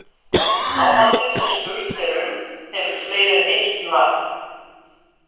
Áhaldið sem spurt er um hefur fleiri en eitt nafn.